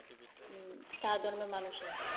চার ধর্মের মানুষই।